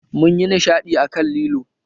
Mun yi nishadi a kan lilo